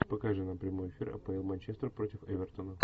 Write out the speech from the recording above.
покажи нам прямой эфир апл манчестер против эвертона